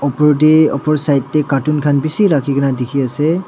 opor tae opor side tae carton khan bishi rakhi kaena dikhiase.